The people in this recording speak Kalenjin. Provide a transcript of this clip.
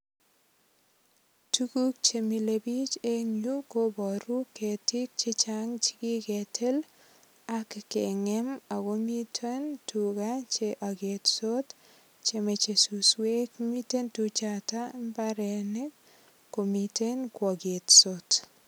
Tuguk che mile biich eng yu kobaru ketiik che chang che kegetil ak kengem ago miten tuga che agetot che moche suswek. Mite tuchato imbarenik komiten kwqgetsot.